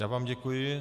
Já vám děkuji.